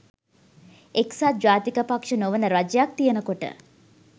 එක්සත් ජාතික පක්ෂ නොවන රජයක් තියෙනකොට